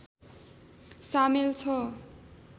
सामेल छ